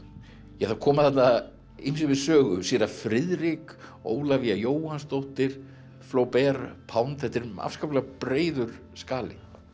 það koma þarna ýmsir við sögu séra Friðrik Ólafía Jóhannsdóttir Flober Pound þetta er afskaplega breiður skali